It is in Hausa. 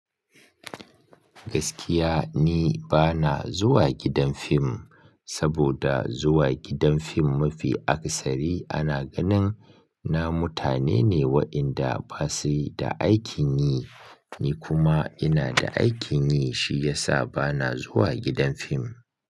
Gaskiya ni bana zuwa gidan fim, saboda zuwa gidan fim mafi akasari ana ganin na mutane ne waɗanda basu da aikin yi, ni kuma ina da aikin yi shiyasa bana zuwa gidan fim.